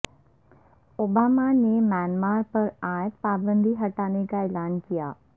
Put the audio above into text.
Obama نے Myanmar پر عائد پابندی ہٹانے کا اعلان کیا